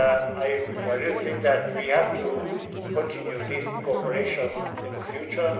I really think that we have to continue this cooperation in the future.